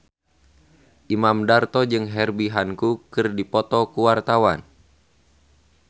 Imam Darto jeung Herbie Hancock keur dipoto ku wartawan